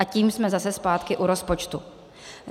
A tím jsme zase zpátky u rozpočtu.